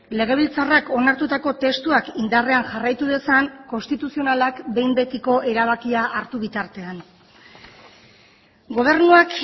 legebiltzarrak onartutako testuak indarrean jarraitu dezan konstituzionalak behin betiko erabakia hartu bitartean gobernuak